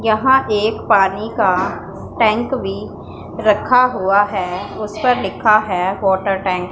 यहां एक पानी का टैंक भी रखा हुआ है उस पर लिखा है वाटर टैंक --